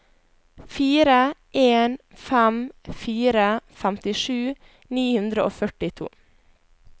fire en fem fire femtisju ni hundre og førtito